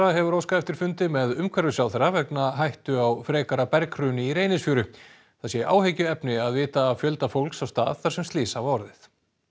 hefur óskað eftir fundi með umhverfisráðherra vegna hættu á frekara berghruni í Reynisfjöru það sé áhyggjuefni að vita af fjölda fólks á stað þar sem slys hafa orðið